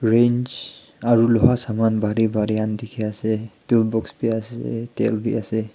range aru loha saman bhari bhari khan dekhi ase etu books bhi ase tel bhi ase.